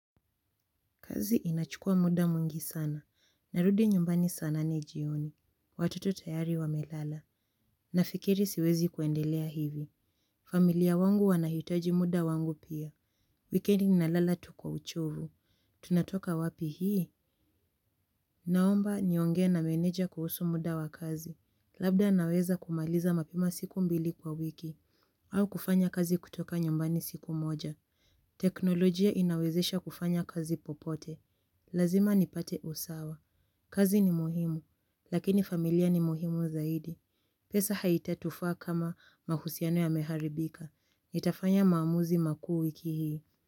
Kazi inachukua muda mwingi sana. Narudi nyumbani sa nane jioni. Watoto tayari wamelala. Nafikiri siwezi kuendelea hivi. Familia wangu wanahitaji muda wangu pia. Wikendi nalala tu kwa uchovu. Tunatoka wapi hii? Naomba niongee na meneja kuhusu muda wa kazi. Labda naweza kumaliza mapima siku mbili kwa wiki. Au kufanya kazi kutoka nyumbani siku moja. Teknolojia inawezesha kufanya kazi popote. Lazima nipate usawa. Kazi ni muhimu. Lakini familia ni muhimu zaidi. Pesa haitatufaa kama mahusiano yameharibika. Nitafanya maamuzi makuu wiki hii.